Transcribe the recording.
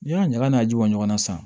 N'i y'a ɲagaɲaga in bɔ ɲɔgɔnna sa